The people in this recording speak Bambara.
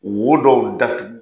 Wo dɔw datugu.